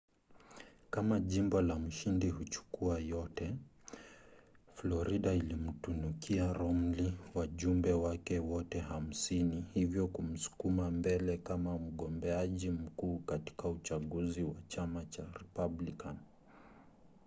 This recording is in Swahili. kama jimbo la mshindi-huchukua-yote. florida ilimtunukia romney wajumbe wake wote hamsini hivyo kumsukuma mbele kama mgombeaji mkuu katika uchaguzi wa chama cha republican